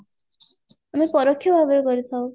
ଆମେ ପରୋକ୍ଷ ଭାବରେ କରିଥାଉ